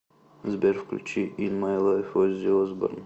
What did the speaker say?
сбер включи ин май лайф оззи осборн